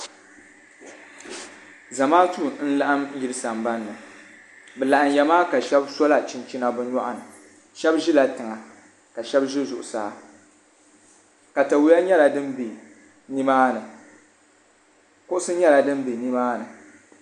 Zamaatu n laɣim yili sambani bɛ laɣinyamaa ka shebi so la chinchina bɛ nyuɣuni shebi ʒila tiŋa ka shɛba ʒi zuɣusaa katawiya nyɛla din be nimaani kuɣusi nyɛla din be nimaani.